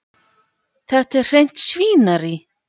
Þetta er hreint svínarí.